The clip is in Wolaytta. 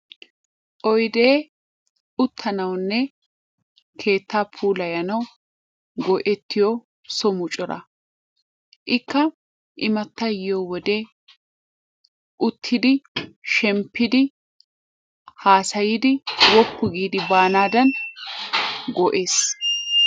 Oydee uttanawunne keettaa pulayanawu go'ettiyo so muccura. Ikka immatay yiyo wode uttidi shemppidi haasayidi woppu giidi baanaadan go'ees.